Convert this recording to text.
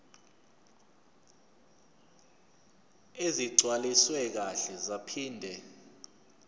ezigcwaliswe kahle zaphinde